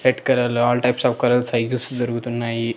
Red colour లో all types of colours sizes దొరుకుతున్నాయి.